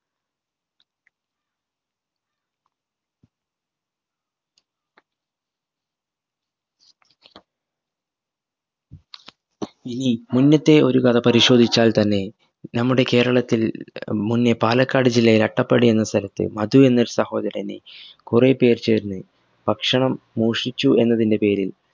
ഇനി മുന്നത്തെ ഒരു കഥ പരിശോധിച്ചാൽ തന്നെ നമ്മുടെ കേരളത്തിൽ ഏർ മുന്നേ പാലക്കാട് ജില്ലയിൽ അട്ടപ്പാടി എന്ന സ്ഥലത്ത് മധു എന്ന സഹോദരനെ കുറേ പേർ ചേർന്ന് ഭക്ഷണം മോഷിച്ചു എന്നതിന്റെ പേരിൽ